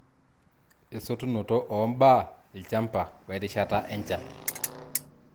Esotunoto oo mbaa ilchamba we rishata enchan.